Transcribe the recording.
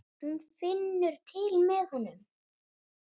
Hún finnur til með honum.